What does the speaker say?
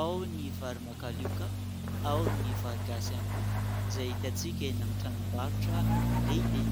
Ao ny vary makalioka, ao ny vary gasy ihany koa, izay hitantsika eny amin'ny tranom-barotra lehibe.